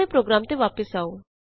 ਆਪਣੇ ਪ੍ਰੋਗਰਾਮ ਤੇ ਵਾਪਸ ਆਉ